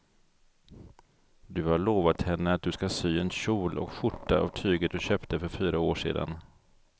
Du har lovat henne att du ska sy en kjol och skjorta av tyget du köpte för fyra år sedan.